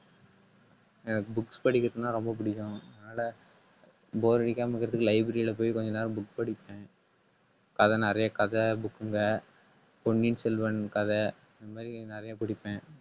எனக்கு books படிக்கிறதுன்னா ரொம்ப பிடிக்கும். அதனால bore அடிக்காம இருக்கறதுக்கு library ல போய் கொஞ்ச நேரம் book படிப்பேன். கதை நிறைய கதை book ங்க பொன்னியின் செல்வன் கதை இந்த மாதிரி நிறைய படிப்பேன்